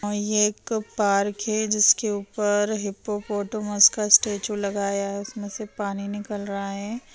--और ये एक पार्क है जिसके ऊपर हिप्पोपोटेमस का स्टैचू लगाया है उसमें से पानी निकल रहा है।